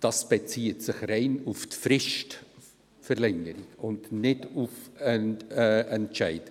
es bezieht sich allein auf die Fristverlängerung und nicht auf den Entscheid.